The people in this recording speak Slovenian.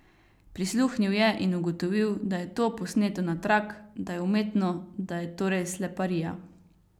Prisluhnil je in ugotovil, da je to posneto na trak, da je umetno, da je torej sleparija.